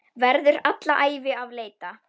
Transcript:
Verður alla ævi að leita.